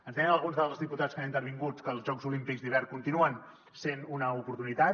ens deien alguns dels diputats que han intervingut que els jocs olímpics d’hivern continuen sent una oportunitat